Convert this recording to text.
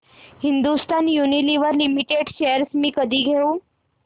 Hindustan Unilever Limited shares मी कधी घेऊ